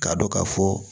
K'a dɔn ka fɔ